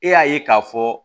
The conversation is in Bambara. E y'a ye k'a fɔ